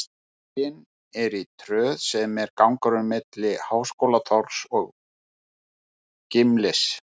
Sýningin er í Tröð, sem er gangurinn milli Háskólatorgs og Gimlis.